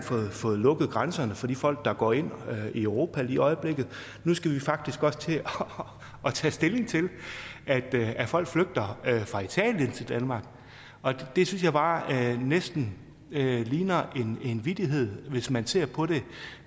fået lukket grænserne for de folk der går ind i europa lige i øjeblikket og nu skal vi faktisk også til at tage stilling til at folk flygter fra italien til danmark det synes jeg bare næsten ligner en vittighed hvis man ser på det